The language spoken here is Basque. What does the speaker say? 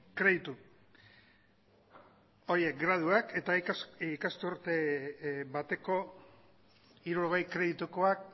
kreditu horiek graduak eta ikasturte bateko hirurogei kreditukoak